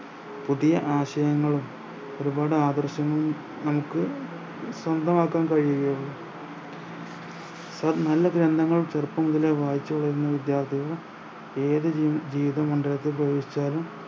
പുതിയ ആശയങ്ങളും ഒരുപാട് ആദർശങ്ങളും നമുക്ക് സ്വന്തമാക്കാൻ കഴിയുകയുള്ളു അഹ് നല്ല ഗ്രന്ദങ്ങളും ചെറുപ്പം മുതലേ വായിച്ചുവളരുന്ന വിദ്യാർഥികൾ ഏത് ജീ ജീവിത മണ്ഡപത്തിൽ പ്രവേശിച്ചാലും